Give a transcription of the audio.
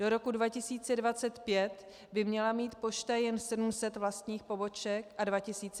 Do roku 2025 by měla mít pošta jen 700 vlastních poboček a 2500 partnerských.